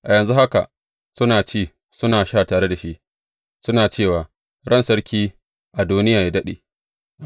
A yanzu haka suna ci, suna sha, tare da shi, suna cewa, Ran Sarki Adoniya yă daɗe!’